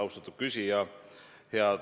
Austatud küsija!